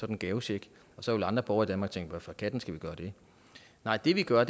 ren gavecheck og så ville andre borgere i danmark tænke hvorfor katten skal vi gøre det nej det vi gør er